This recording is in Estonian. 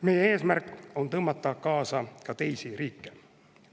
Meie eesmärk on tõmmata kaasa ka teisi riike.